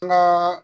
N ka